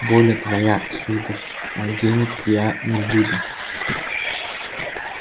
воля твоя сударь а денег я не выдам